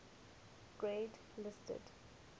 grade listed